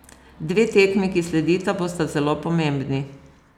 Dve tekmi, ki sledita, bosta zelo pomembni.